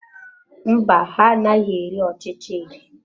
Mba, ha anaghị eri ọchịcha eri.